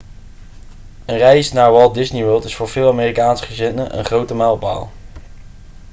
een reis naar walt disney world is voor veel amerikaanse gezinnen een grote mijlpaal